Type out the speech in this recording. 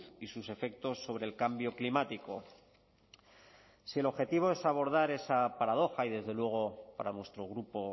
y sus efectos sobre el cambio climático si el objetivo es abordar esa paradoja y desde luego para nuestro grupo